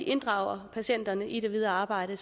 inddrager patienterne i det videre arbejde